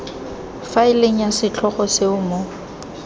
faeleng ya setlhogo seo mo